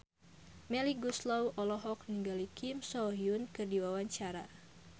Melly Goeslaw olohok ningali Kim So Hyun keur diwawancara